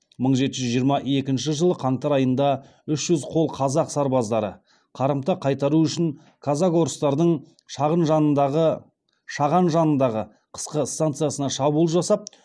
мың жеті жүз жиырма екінші жылы қаңтар айында үш жүз қол қазақ сарбаздары қарымта қайтару үшін казак орыстардың шаған жанындағы қысқы станицасына шабуыл жасап